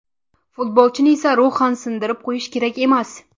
Futbolchini esa ruhan sindirib qo‘yish kerak emas.